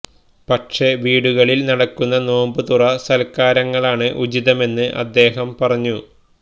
പക്ഷേ വീടുകളില് നടക്കുന്ന നോമ്പു തുറ സല്ക്കാരങ്ങളാണ് ഉചിതമെന്ന് അദ്ദേഹം പറഞ്ഞു